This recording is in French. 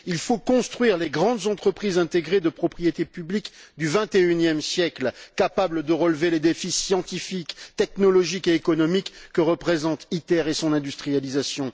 Il faut construire les grandes entreprises intégrées de propriété publique du XXIe siècle capables de relever les défis scientifiques, technologiques et économiques que représentent ITER et son industrialisation.